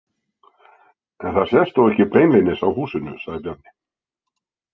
En það sést þó ekki beinlínis á húsinu, sagði Bjarni.